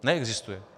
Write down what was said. Neexistuje.